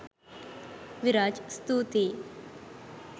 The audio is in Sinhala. විරාජ් ස්තුතියි